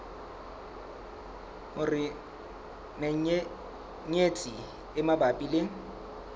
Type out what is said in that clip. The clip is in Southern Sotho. hore menyenyetsi e mabapi le